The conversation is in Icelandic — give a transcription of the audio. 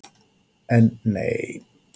En, nei!